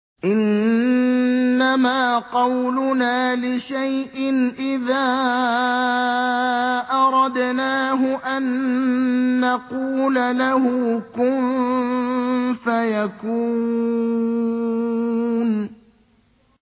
إِنَّمَا قَوْلُنَا لِشَيْءٍ إِذَا أَرَدْنَاهُ أَن نَّقُولَ لَهُ كُن فَيَكُونُ